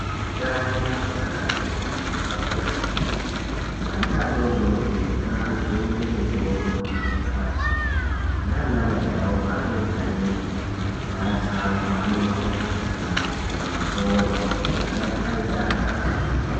Hutano hweana adodori , hwakakosha kwemene , ana adodori ngajungwe mitombo yekudziirira matenda, nana Mai awo panenge ane mimba ngasamwa doro kana kubhema forya kuti ana aite atano.